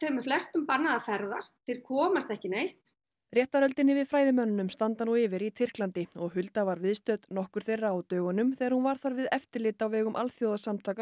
er flestum bannað að ferðast þeir komast ekki neitt réttarhöldin yfir fræðimönnunum standa nú yfir í Tyrklandi og Hulda var viðstödd nokkur þeirra á dögunum þegar hún var þar við eftirlit á vegum Alþjóðasamtaka